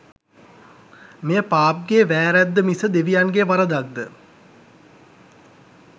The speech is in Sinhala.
මෙය පාප්ගේ වෑරද්ද මිස දෙවියන්ගේ වරදක්ද?